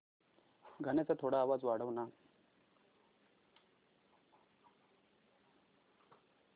गाण्याचा थोडा आवाज वाढव ना